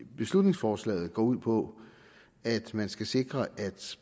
beslutningsforslaget går ud på at man skal sikre at